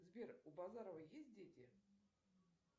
сбер у базарова есть дети